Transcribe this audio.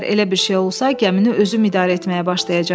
Əgər elə bir şey olsa, gəmini özüm idarə etməyə başlayacam.